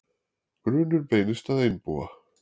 Grunur beinist að einbúa